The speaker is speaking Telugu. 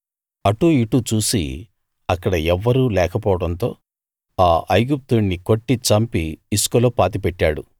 అటూ ఇటూ చూసి అక్కడ ఎవ్వరూ లేకపోవడంతో ఆ ఐగుప్తీయుణ్ణి కొట్టి చంపి ఇసుకలో పాతిపెట్టాడు